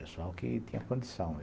Pessoal que tinha condição.